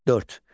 Dörd.